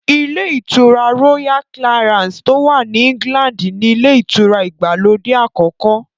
Ilé ìtura Royal Clarance tó wà ní England ni ilé ìtura ìgbàlódé àkọ́kọ́